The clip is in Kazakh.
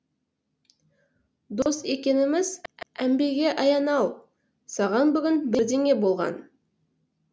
дос екеніміз әмбеге аян ау саған бүгін бірнеңе болған